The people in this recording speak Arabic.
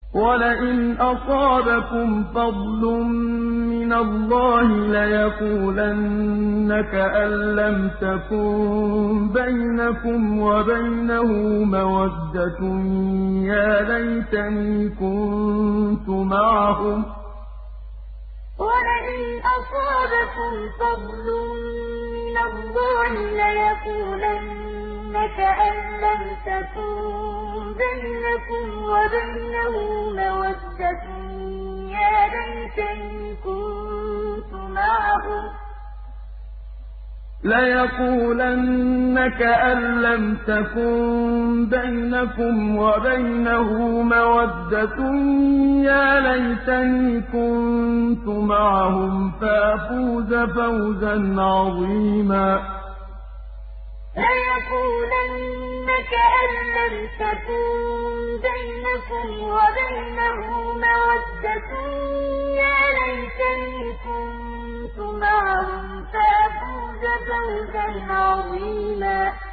وَلَئِنْ أَصَابَكُمْ فَضْلٌ مِّنَ اللَّهِ لَيَقُولَنَّ كَأَن لَّمْ تَكُن بَيْنَكُمْ وَبَيْنَهُ مَوَدَّةٌ يَا لَيْتَنِي كُنتُ مَعَهُمْ فَأَفُوزَ فَوْزًا عَظِيمًا وَلَئِنْ أَصَابَكُمْ فَضْلٌ مِّنَ اللَّهِ لَيَقُولَنَّ كَأَن لَّمْ تَكُن بَيْنَكُمْ وَبَيْنَهُ مَوَدَّةٌ يَا لَيْتَنِي كُنتُ مَعَهُمْ فَأَفُوزَ فَوْزًا عَظِيمًا